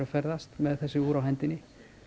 ferðast með þessi úr á hendinni